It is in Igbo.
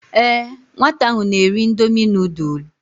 Ee nwata ahụ na-eri indomi nudul.